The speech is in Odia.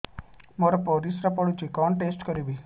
ମୋର ପରିସ୍ରା ପୋଡୁଛି କଣ ଟେଷ୍ଟ କରିବି